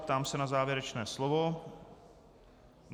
Ptám se na závěrečné slovo.